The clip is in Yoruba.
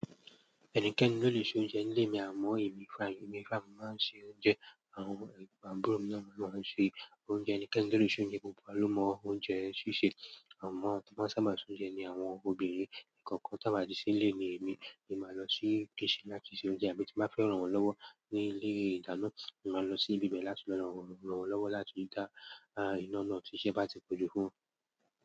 Ẹnikẹ́ni ló lè ṣe oúnjẹ ní ilé mi, àmọ́ èmi fún èmi fún ara mi mo máa ń ṣe oúnjẹ. Àwọn àbúrò mi noh ni won máa ń ṣe oúnjẹ ẹnikẹ́ni tó lè ṣe oúnjẹ gbogbo wa ló mọ oúnjẹ ṣíṣe. Àmọ́ awon tí wón bá sábà ṣe oúnjẹ ni àwọn obìnrin nìkan kí wọ́n sábà sì lé èmi, èmi máa lọ sí kitchen láti ṣe oúnjẹ àbí tí màá fẹ́ rànwọ́n lọ́wọ́ ní ilé ìdáná, èmi máa lọ sí ibi bẹ̀ẹ́ láti lọ rànwọ́n lọ́wọ́ láti rí dá à ìná iná ti sẹ́ bá ti pọ̀jù fún ùn.